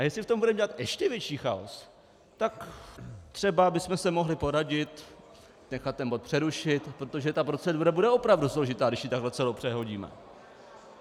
A jestli v tom budeme dělat ještě větší chaos, tak třeba bychom se mohli poradit, nechat ten bod přerušit, protože ta procedura bude opravdu složitá, když ji takhle celou přehodíme.